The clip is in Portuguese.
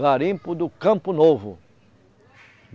Garimpo do Campo Novo.